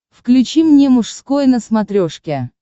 включи мне мужской на смотрешке